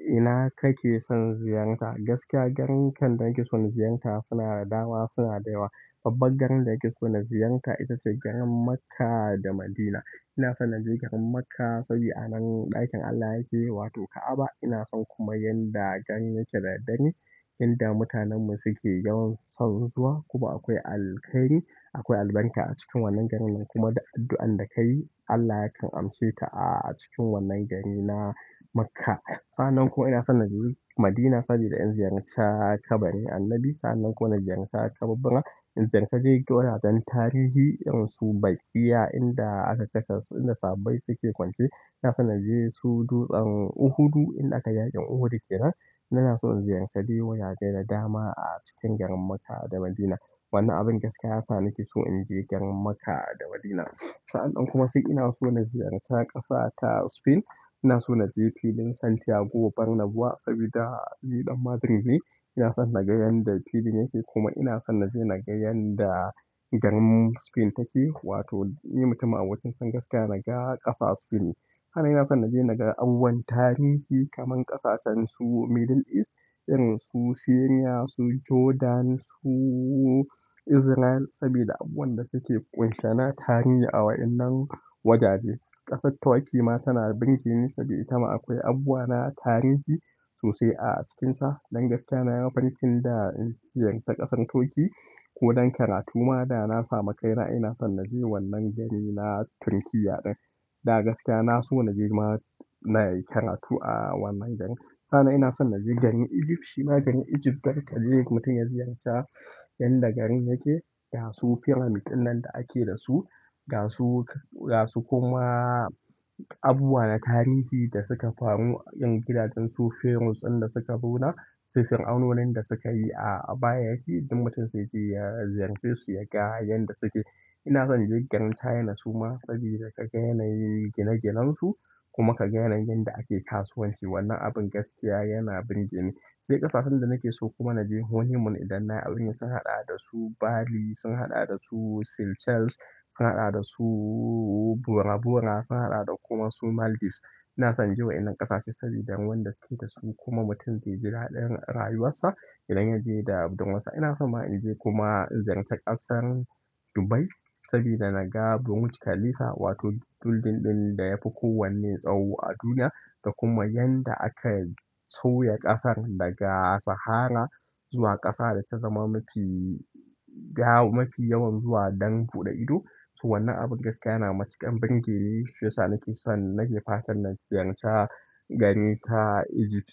Ina kake son ziyarta? Gaskiya, garin da nake so na ziyarta suna da dama, suna da yawa. Babban garin da nake so na ziyarta ita ce garin Makkah da Madinah. Ina son na je garin Makkah saboda a nan ɗakin Allah yake, wato Ka'abah. Ina son kuma yadda garin yake da daddare, inda mutanen mu suke yawan son zuwa. Kuma akwai alkhairi akwai albarka acikin wannan garin kuma da addu'an da ka yi, Allah yakan amshe ta a cikin wannan garina Makkah. Sa'an nan ko ina son na je Madinah saboda in ziyarci kabarin Annabi. Sa'an nan kuma na ziyarci kababbena in ziyarci gidajen tarihi, irin su Baqi'a inda aka dasa, inda sabai suke kwance. Ina son naje su Dutsen Uhudu inda aka yaƙin Uhud kenan. Ina so in ziyarci dai wajeje da dama a cikin garin Makkah da Madinah. Wannan abin gaskiya ya sa nake so in je garin Makkah da Madinah. Sa'an nan kuma sai ina so na ziyarci ƙasa ta Spain. Ina so naje filin Santiago Bernabeu saboda ni ɗan Madrid ne. Ina son na ga yanda filin yake. Kuma ina son naje na ga yadda garin Spain take. Wato ni mutum a wa naga ƙasa Spain. Sa'an nan ina son na je na ga abubuwan tarihi kaman ƙasashen su Middle East, irin su Syria, su Jordan, su Israel saboda abubuwan da suke kunshe na tarihi a wa'innan wajaje. Ƙasar Turkey ma tana ɓirge ni saboda ita ma akwai abubuwa na tarihi sosai a cikinsa. Dan gaskiya nayi mafarkin da in ziyarci ƙasar Turkey ko don karatu ma da na samu kaina ina son naje wannan garina Turkey ɗin. Da gaskiya na so naje ma nayi karatu a wannan garin. Sa'an nan ina son naje garin Egypt shima garin Egypt, darka je mutum ya ziyarce yadda garin yake, ga su firamids ɗin nan da ake da su, ga su, ga su kuma abubuwa na tarihi da suka faru, 'yan gidajen su pharaohs ɗin da suka zo na, su fir'aunonin da suka yi a baya yake. Inda mutum zai je ya ziyarce su, ya ga yanda suke. Ina son naje garin China suma saboda ka ga yanayin gine-ginen su kuma ka ga yanda ake kasuwanci. Wannan abin gaskiya yana ɓirge ni. Sai ƙasashen da nake so kuma naje honeymoon idan na aure sun haɗa da su Bali, sun haɗa da su Seychelles, sun haɗa da su Bora Bora, sun haɗa da kuma su Maldives. Ina son je wa'innan ƙasashe saboda wanda suke da su kuma mutum zai ji raɗin rayuwarsa idan yaje da budurwar sa. Ina so ma in je kuma in ziyarci ƙasar Dubai saboda na ga Burj Khalifa, wato building ɗin da ya fi kowanne tsawo a duniya. Da kuma yanda aka sauya ƙasar daga sahara zuwa ƙasa da ta zama mafi ga mafi yawan zuwa don buɗe ido. To wannan abin gaskiya yana matuƙar ɓirge ni shiyasa nake son, nake fatan na ziyarci gari ta Egypt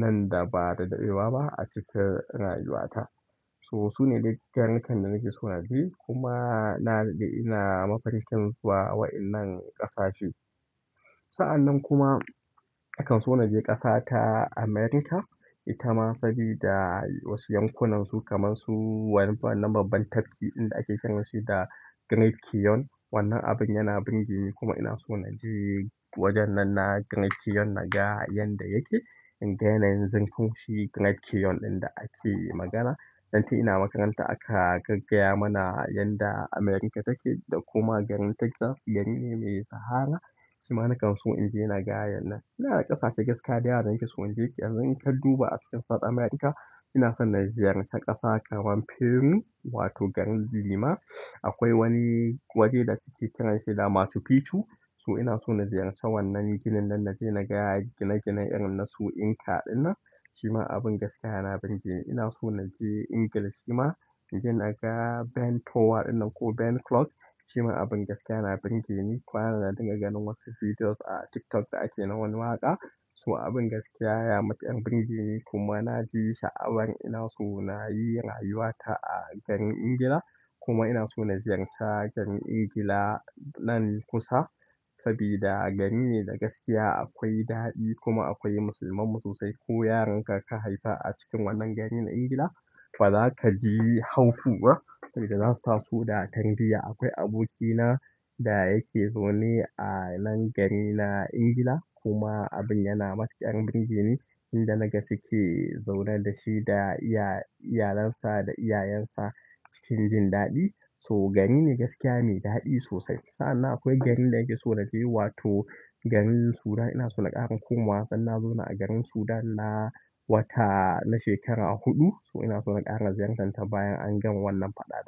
nan da ba da daɗewa ba a cikin rayuwata. To sune dai garirrikan da nake so naje kuma na, ina mafarkin zuwa wa'innan ƙasashe. Sa'an nan kuma, akan so naje ƙasa ta America. Ita ma saboda wasu yankunansu kaman su wannan, wannan babban tafki inda ake kiran shi da Great Canyon. Wannan abin yana ɓarke ni kuma ina so na je wajen nan na Great Canyon na ga yanda yake. Inga yanayin zurfin shi Great Canyon ɗin da ake magana. Dan tun ina makaranta aka gaggaya mana yanda america take da kuma garin takzal garine mai sahara shima nakan so in je naga yana. Ina da ƙasashe gaskiya da yawa nake so inje yanzu inka duba a cikin south America. Ina son na ziyarci ƙasa kamar Peru wato garin Lima. Akwai wani waje da suke kiranshi da Machu Picchu. So ina so na ziyarci wannan ginin nan na je na ga gine ginen irin na su Inca ɗin nan. Shima abin gaskiya yana ɓirge ni. Ina so naje England shima inje na ga Ben Tower ɗinnan ko Ben Clock. Shima abin gaskiya yana ɓirge ni. Kwana nan na dinga ganin wasu videos a TikTok da ake nawani waƙa. To abin gaskiya ya matuƙar birgeni kuma na ji sha'awar ina so na yi rayuwata a garin England. Kuma ina so na ziyarci garin England nan kusa sabida gari ne da gaskiya akwai daɗi kuma akwai musulman mu sosai. Ko yaronka ka haifa a cikin wannan garin England, fa zaka ji haufi ba sabida za su taso da tarbiyya. Akwai abokina da yake zaune a nan garina England kuma abin yana matuƙar birge ni inda naga suke zaune da shi da iya, iyalinsa da iyayensa cikin jin daɗi. So gari ne gaskiya mai daɗi sosai. Sa'an nan akwai garin da nakeso naje, wato garin Sudan. Ina so na ƙara komawa, dan na zauna a garin Sudan na wata na shekara huɗu. To ina sona ƙara ziyartar bayan an gama wannan faɗa ɗa.